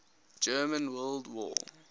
german world war